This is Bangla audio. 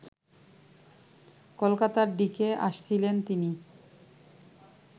কলকাতার দিকে আসছিলেন তিনি